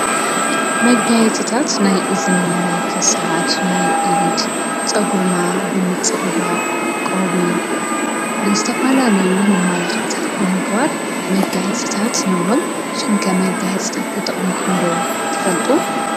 መጋይጽታት ናይ እዝኒ፣ ናይ ክሳድ ፣ናይ ኢድ ጸጕርና ብምጽብባቕ ቆዊዕ ንዝተፋ ለዩ መማላኽእታት ብምግባር መጋይጽታት ንብሎም። ንስኹምከ መጋይሕጽታት ተጠቅምኩም ዶ ትፈልጡ?